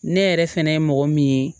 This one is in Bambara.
Ne yɛrɛ fɛnɛ ye mɔgɔ min ye